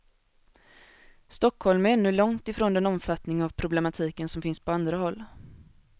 Stockholm är ännu långt ifrån den omfattning av problematiken som finns på andra håll.